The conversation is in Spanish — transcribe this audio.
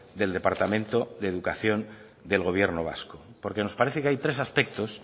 del departamento de educación del gobierno vasco porque nos parece que hay tres aspectos